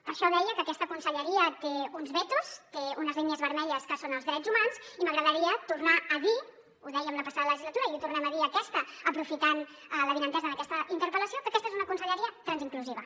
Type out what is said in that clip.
per això deia que aquesta conselleria té uns vetos té unes línies vermelles que són els drets humans i m’agradaria tornar a dir ho dèiem la passada legislatura i ho tornem a dir aquesta aprofitant l’avinentesa d’aquesta interpel·lació que aquesta és una conselleria transinclusiva